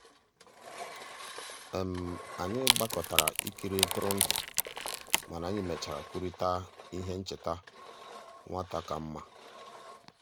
anyị gbàkọtàrà ìkìrì ntụrụndụ mànà anyị mèchàrà kwùrịtà íhè nchèta nwata kàmmà.